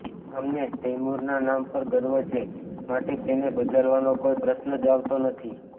અમને તૈમૂરનાં નામ પર ગર્વ છે માટે તેને બદલવાનો કોઇ પ્રશ્ન જ આવતો નથી